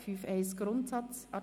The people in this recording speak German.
5.1 Grundsatz Art.